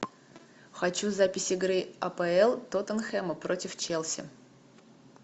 хочу запись игры апл тоттенхэма против челси